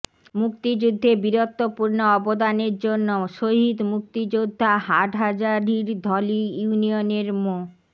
মুক্তিযুদ্ধে বীরত্বপূর্ণ অবদানের জন্য শহীদ মুক্তিযোদ্ধা হাটহাজারীর ধলই ইউনিয়নের মো